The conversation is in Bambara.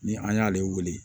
Ni an y'ale wele